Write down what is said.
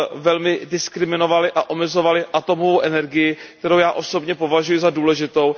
velmi diskriminovaly a omezovaly atomovou energii, kterou já osobně považuji za důležitou.